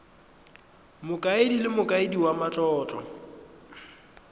mokaedi le mokaedi wa matlotlo